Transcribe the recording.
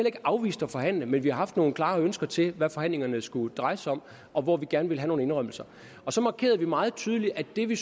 ikke afvist at forhandle men vi har nogle klare ønsker til hvad forhandlingerne skulle dreje sig om og hvor vi gerne ville have nogle indrømmelser så markerede vi meget tydeligt at det vi